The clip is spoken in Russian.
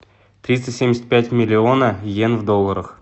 триста семьдесят пять миллиона йен в долларах